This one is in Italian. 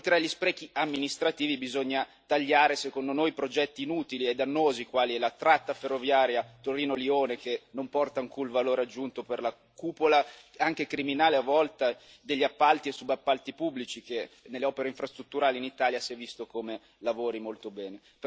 Oltre agli sprechi amministrativi bisogna tagliare, secondo noi, i progetti inutili e dannosi, quali la tratta ferroviaria Torino Lione, che non porta alcun valore aggiunto per la cupola, anche criminale a volte, degli appalti e subappalti pubblici, che, nelle opere infrastrutturali in Italia, si è visto come lavori molto bene.